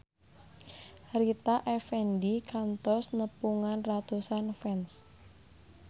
Rita Effendy kantos nepungan ratusan fans